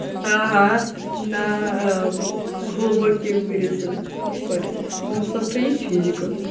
ага на глубокие вырезы не парьтесь у нас завтра есть физика